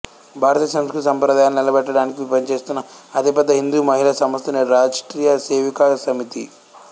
భారతీయ సంస్కృతి సంప్రదాయాలను నిలబెట్టడానికి పనిచేస్తున్న అతిపెద్ద హిందూ మహిళా సంస్థ నేడు రాష్ట్రీయ సేవికా సమితి